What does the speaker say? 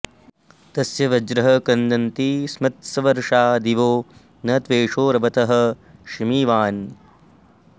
तस्य वज्रः क्रन्दति स्मत्स्वर्षा दिवो न त्वेषो रवथः शिमीवान्